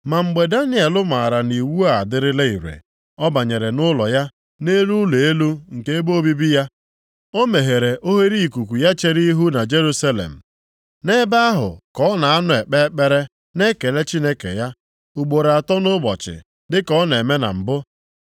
Ma mgbe Daniel maara na iwu a adịla ire, ọ banyere nʼụlọ ya, nʼelu ụlọ elu nke ebe obibi ya, o meghere oghereikuku ya chere ihu na Jerusalem. Nʼebe ahụ ka ọ na-anọ ekpe ekpere na ekele Chineke ya, ugboro atọ nʼụbọchị dịka ọ na-eme na mbụ.